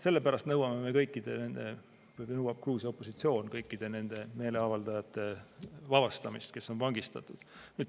Sellepärast nõuame me või nõuab Gruusia opositsioon kõikide nende meeleavaldajate vabastamist, kes on vangistatud.